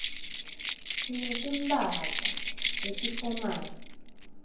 sinetimphahla letifomali